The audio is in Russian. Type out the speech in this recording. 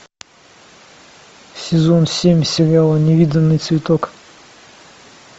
сезон семь сериала невиданный цветок